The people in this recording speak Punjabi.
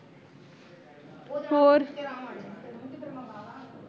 ਹੋਰ